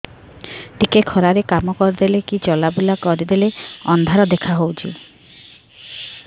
ଟିକେ ଖରା ରେ କାମ କରିଦେଲେ କି ଚଲବୁଲା କରିଦେଲେ ଅନ୍ଧାର ଦେଖା ହଉଚି